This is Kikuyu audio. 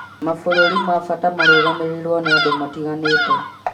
Mabũrũri ma bata marũgamĩrĩirũo nĩ andũ matiganĩte